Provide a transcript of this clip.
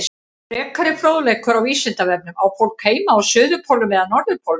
Frekari fróðleikur á Vísindavefnum Á fólk heima á suðurpólnum eða norðurpólnum?